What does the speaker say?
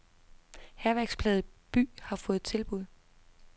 Hærværksplaget by har få tilbud.